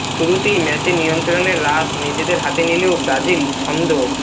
শুরুতেই ম্যাচের নিয়ন্ত্রণের রাশ নিজেদের হাতে নিলেও ব্রাজিল ছন্দ